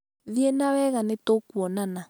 thiĩ na wega nĩtũkuonana